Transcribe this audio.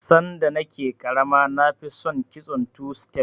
Sanda na ke ƙarama na fi son kitson two stef